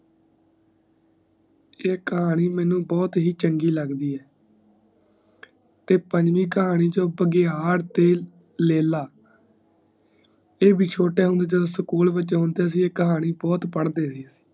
ਈ ਕਹਾਣੀ ਮੇਨੂ ਬਹੁਤ ਹੀ ਚੰਗੀ ਲੱਗਦੀ ਹੈ ਤੇ ਪੰਜਵੀ ਕਹਾਣੀ ਚੋ ਬਗਿਆੜ ਤੇ ਲੈਲਾ ਈ ਬ ਛੋਟੀਆਂ ਹੁੰਦੇ ਸਕੂਲ ਵਿਚ ਹੁੰਦੇ ਸੀ ਈ ਕਹਾਣੀ ਬਹੁਤ ਪੜ੍ਹ ਦੇ ਸੀ